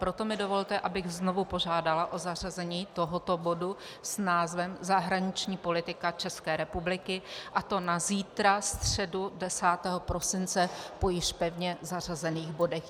Proto mi dovolte, abych znovu požádala o zařazení tohoto bodu s názvem Zahraniční politika České republiky, a to na zítra, středu 10. prosince, po již pevně zařazených bodech.